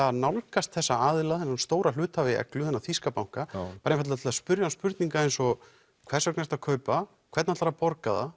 að nálgast þessa aðila þennan stóra hluthafa í Eglu þennan þýska banka bara einfaldlega til að spyrja hann spurninga eins og hvers vegna ertu að kaupa hvernig ætlaru að borga það